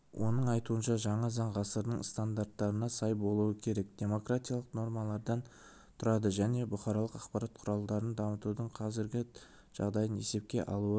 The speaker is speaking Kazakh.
оның айтуынша жаңа заң ғасырдың стандарттарына сай болуы керек демократиялық нормалардан тұрады және бұқаралық ақпарат құралдарын дамытудың қазіргі жағдайын есепке алуы